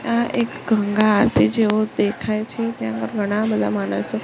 આ એક ગંગા આરતી જેવું દેખાય છે તેમાં ઘણા બધા માણસો--